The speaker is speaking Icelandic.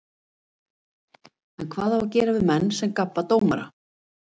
En hvað á að gera við menn sem gabba dómara?